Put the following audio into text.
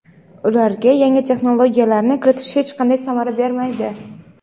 ularga yangi texnologiyalarni kiritish hech qanday samara bermaydi.